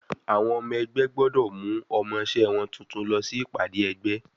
Àwọn ọmọ ẹgbẹ́ gbọ́dọ̀ mú ọmọṣé wọn tuntun lọ sí Ìpàdé ẹgbé.